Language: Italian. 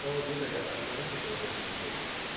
provo a dirle rapidamente quello che penso io.